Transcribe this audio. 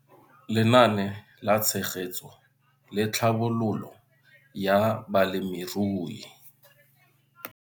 Lenaane la Tshegetso le Tlhabololo ya Balemirui.